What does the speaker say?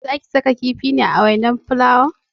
Zaki saka kifi ne a wainar fulawan?